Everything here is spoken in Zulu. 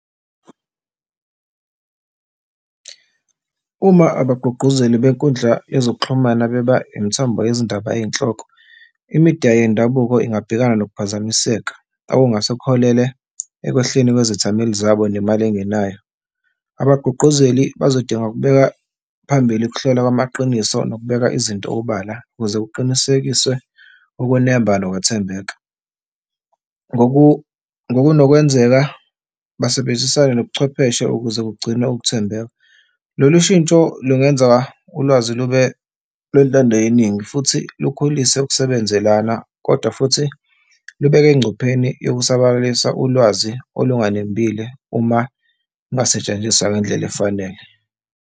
Uma abagqugquzeli benkundla yezokuxhumana beba imithombo yezindaba eyinhloko, imidiya yendabuko ingabhekana nokuphazamiseka, okungase kuholele ekwehleni kwezethameli zabo nemali engenayo. Abagqugquzeli bazodinga ukubeka phambili ukuhlolwa kwamaqiniso nokubeka izinto obala ukuze kuqinisekiswe ukunemba nokwethembeka, ngokunokwenzeka basebenzisane nobuchwepheshe ukuze kugcine ukuthembeka. Lolu shintsho lingenza ulwazi lube olwentando yeningi futhi kukhulise ukusebenzelana, kodwa futhi libeke engcupheni yokusabalalisa ulwazi olunganembile uma lungasetshenziswa ngendlela efanele.